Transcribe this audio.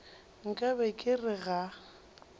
nka be ke re ga